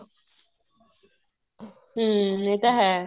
ਹਮ ਇਹ ਤਾਂ ਹੈ